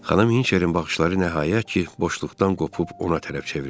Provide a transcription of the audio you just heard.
Xanım Hinçerin baxışları nəhayət ki, boşluqdan qopub ona tərəf çevrildi.